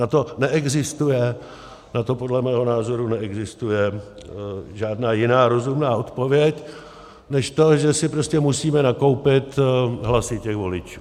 Na to neexistuje, na to podle mého názoru neexistuje žádná jiná rozumná odpověď než to, že si prostě musíme nakoupit hlasy těch voličů.